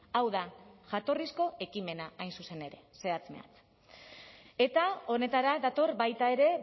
hau da jatorrizko ekimena hain zuzen ere zehatz mehatz eta honetara dator baita ere